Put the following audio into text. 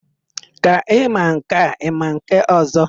Ka ị ma nke a, ị ma nke ọ̀zọ́?